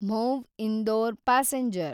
Mhow Indore passenger